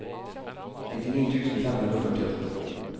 nittini tusen fem hundre og førtiåtte